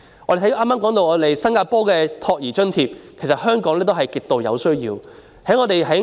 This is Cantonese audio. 我剛才提到新加坡的託兒津貼，其實香港也需要提供這種津貼。